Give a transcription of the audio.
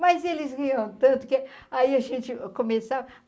Mas eles riam tanto que aí a gente começava.